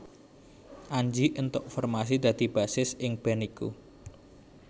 Anji éntuk formasi dadi bassis ing band iku